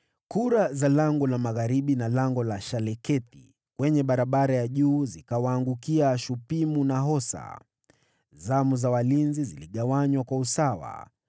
Kura za Lango la Magharibi na Lango la Shalekethi kwenye barabara ya juu zikawaangukia Shupimu na Hosa. Zamu za walinzi ziligawanywa kwa usawa: